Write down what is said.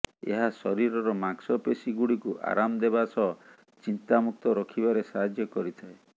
ଏହା ଶରୀରର ମାଂସପେଶୀଗୁଡ଼ିକୁ ଆରାମ ଦେବା ସହ ଚିନ୍ତାମୁକ୍ତ ରଖିବାରେ ସାହାଯ୍ୟ କରିଥାଏ